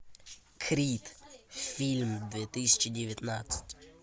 крид фильм две тысячи девятнадцать